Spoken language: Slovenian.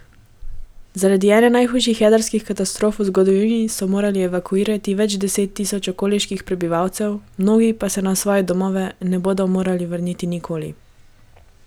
Zaradi ene najhujših jedrskih katastrof v zgodovini so morali evakuirati več deset tisoč okoliških prebivalcev, mnogi pa se na svoje domove ne bodo mogli vrniti nikoli.